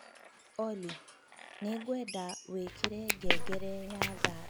Olly, nĩ ngwenda wikire ngengere ya thaa ikũmi na ĩmwe na nuthu rũciũ rũcinĩ